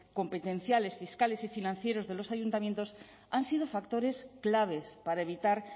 competenciales fiscales y financieros de los ayuntamientos han sido factores claves para evitar